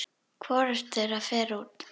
Hvorugt þeirra fer út.